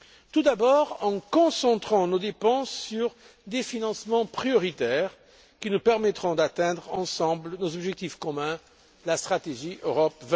Tout d'abord en concentrant nos dépenses sur des financements prioritaires qui nous permettront d'atteindre ensemble nos objectifs communs, ceux de la stratégie Europe